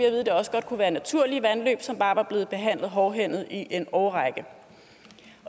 at det også godt kunne være naturlige vandløb som bare var blevet behandlet hårdhændet i en årrække